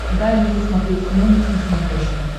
дай мне посмотреть киномикс на смотрешке